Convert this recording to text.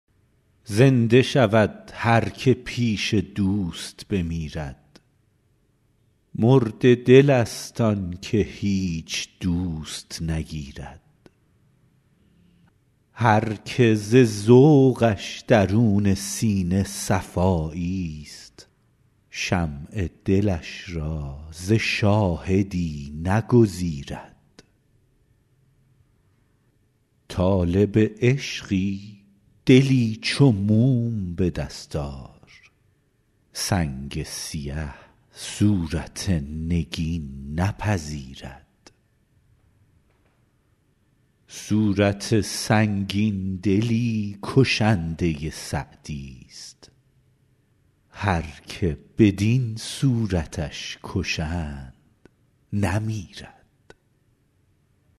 زنده شود هر که پیش دوست بمیرد مرده دلست آن که هیچ دوست نگیرد هر که ز ذوقش درون سینه صفاییست شمع دلش را ز شاهدی نگزیرد طالب عشقی دلی چو موم به دست آر سنگ سیه صورت نگین نپذیرد صورت سنگین دلی کشنده سعدیست هر که بدین صورتش کشند نمیرد